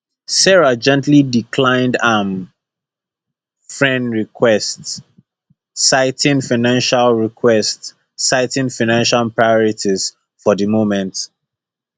sarah gently declined am frens request citing financial request citing financial priorities for di moment